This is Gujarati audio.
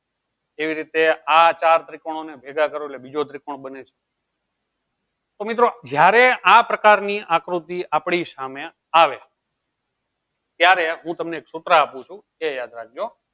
એવી રીતે આ ચાર ત્રિકોણ ને ભેગા કરો એટલે એક ત્રિકોણ બને તો મિત્રો જયારે આ પ્રકાર ની આકૃતિ આપળી સામે આવે ત્યારે હું તમને સુત્ર આપું છું એ યાદ રાખજો